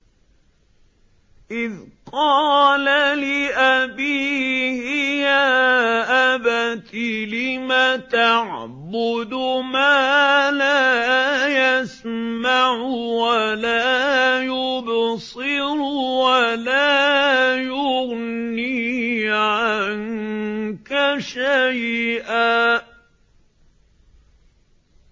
إِذْ قَالَ لِأَبِيهِ يَا أَبَتِ لِمَ تَعْبُدُ مَا لَا يَسْمَعُ وَلَا يُبْصِرُ وَلَا يُغْنِي عَنكَ شَيْئًا